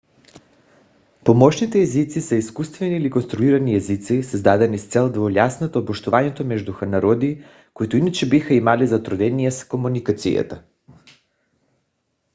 помощните езици са изкуствени или конструирани езици създадени с цел да улеснят общуването между народи които иначе биха имали затруднения с комуникацията